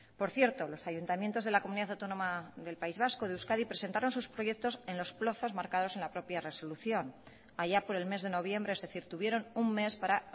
por cierto los ayuntamientos de la comunidad autónoma del país vasco de euskadi presentaron sus proyectos en los plazos marcados en la propia resolución allá por el mes de noviembre es decir tuvieron un mes para